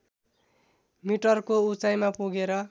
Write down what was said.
मिटरको उचाइमा पुगेर